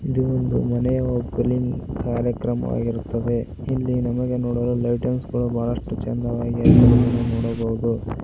ಇದು ಒಂದು ಮನೆಯ ಓಪಲಿಂಗ್ ಕಾರ್ಯಕ್ರಮವಿರುತ್ತದೆ ಎಲ್ಲಿ ನಮಗೆ ನೋಡಲು ಲೈಟಿಂಗ್ ಗಳು ಬಹಳಷ್ಟು ಚಂದವಾಗಿ ಅಕಿದು ನಮಗೆ ನೋಡಬಹುದು.